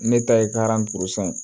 Ne ta ye ye